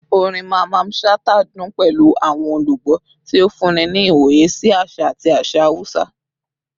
Orin Mamman Shata dun pẹlu awọn olugbo, ti o funni ni iwoye si aṣa ati aṣa Hausa